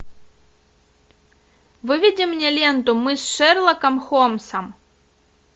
выведи мне ленту мы с шерлоком холмсом